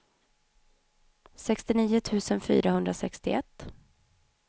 sextionio tusen fyrahundrasextioett